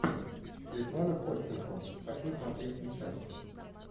светлана ходченкова хочу смотреть сейчас